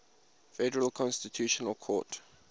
federal constitutional court